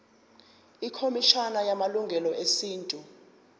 ikhomishana yamalungelo esintu